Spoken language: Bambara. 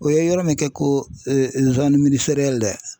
O ye yɔrɔ min kɛ ko